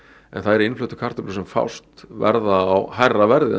en þær innfluttu kartöflur sem fást verða á hærra verði ef